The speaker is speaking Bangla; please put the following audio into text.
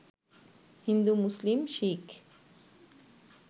হিন্দু, মুসলিম, শিখ